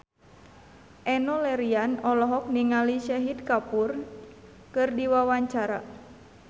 Enno Lerian olohok ningali Shahid Kapoor keur diwawancara